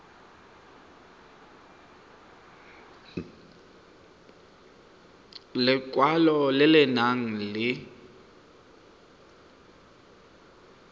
lekwalo le le nang le